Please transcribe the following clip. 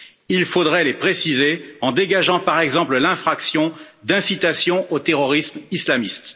Il faudrait les préciser, en dégageant par exemple l'infraction d'incitation au terrorisme islamiste.